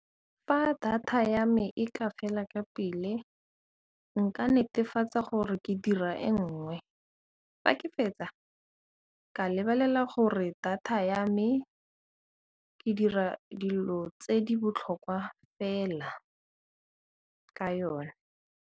Fa data ya me e ka fela ka pele nka netefatsa gore ke dira e nngwe, fa ke fetsa ka lebelela gore data ya me ke dira dilo tse di botlhokwa fela ka yona.